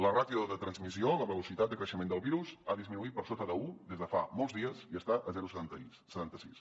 la ràtio de transmissió la velocitat de creixement del virus ha disminuït per sota d’un des de fa molts dies i està a zero coma setanta sis